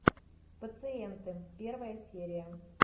пациенты первая серия